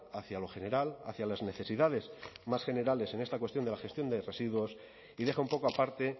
hacia lo general hacia las necesidades más generales en esta cuestión de la gestión de residuos y deja un poco aparte